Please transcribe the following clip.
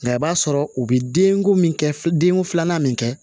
Nka i b'a sɔrɔ u bɛ denko min kɛ denko filanan min kɛ